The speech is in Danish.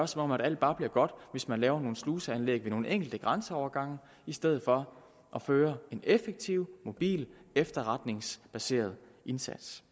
som om alt bare bliver godt hvis man laver nogle sluseanlæg ved nogle enkelte grænseovergange i stedet for at føre en effektiv mobil og efterretningsbaseret indsats